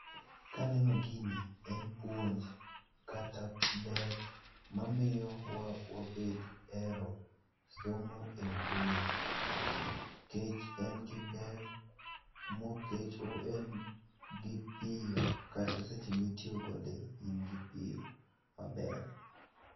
Kaneno gini, en puonj kata ber mamiyo wa wabed hero somo e mbui. Kech en gi ber, mokech en gi piyo kata seche mitiyo kode in gi piyo maber.